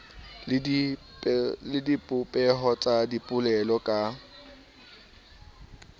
le dibopeho tsa dipolelo ka